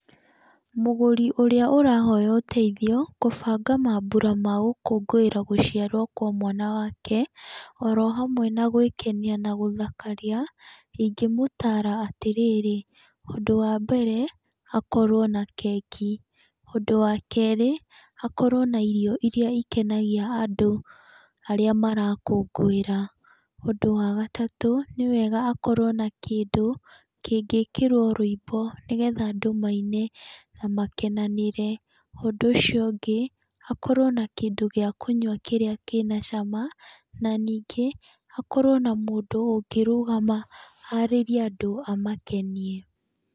Mũgũri ũrĩa ũrahoya ũteithio kũbanga maambura ma gũkũngũĩra gũciarwo kwa mwana wake oro hamwe na gwĩkenia na gũthakaria, ingĩmũtaara atĩ rĩrĩ, ũndũ wa mbere akorwo na keki, ũndũ wa kerĩ akorwo na irio irĩa ikenagia andũ arĩa marakũngũĩra. Ũndũ wa gatatũ nĩ wega akorwo na kĩndũ kĩngĩkĩrwo rwĩmbo nĩgetha andũ maine na makenanĩre. Ũndũ ũcio ũngĩ hakorwo na kĩndü gĩa kũnyua kĩrĩa kĩna cama, na ningĩ hakorwo na mũndũ ũngĩrũgama arĩrie andũ amakenie.